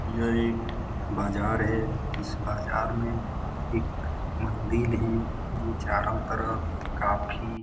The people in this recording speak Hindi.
यह एक बाजार है इस बाजार मे एक मंदिर है जो चारों तरफ काफी --